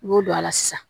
I b'o don a la sisan